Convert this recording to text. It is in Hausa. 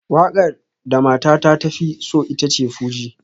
Wakar da matata ta fi so ita ce fuji